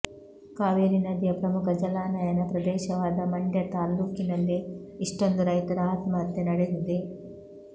ಕಾವೇರಿ ನದಿಯ ಪ್ರಮುಖ ಜಲಾನಯನ ಪ್ರದೇಶವಾದ ಮಂಡ್ಯ ತಾಲ್ಲೂಕಿನಲ್ಲೇ ಇಷ್ಟೊಂದು ರೈತರ ಆತ್ಮಹತ್ಯೆ ನಡೆದಿದೆ